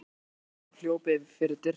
hrópaði Ormur og hljóp fyrir dyrnar.